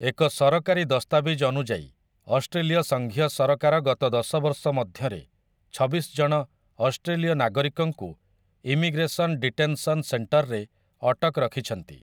ଏକ ସରକାରୀ ଦସ୍ତାବିଜ ଅନୁଯାୟୀ, ଅଷ୍ଟ୍ରେଲୀୟ ସଙ୍ଘୀୟ ସରକାର ଗତ ଦଶ ବର୍ଷ ମଧ୍ୟରେ ଛବିଶ ଜଣ ଅଷ୍ଟ୍ରେଲୀୟ ନାଗରିକଙ୍କୁ 'ଇମିଗ୍ରେସନ୍ ଡିଟେନସନ୍ ସେଣ୍ଟର'ରେ ଅଟକ ରଖିଛନ୍ତି ।